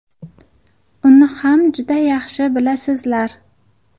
Uni ham juda yaxshi bilasizlar.